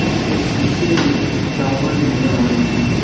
इसके शीशे में एक टावर नज़र आ रहा है।